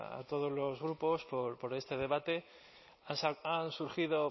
a todos los grupos por este debate han surgido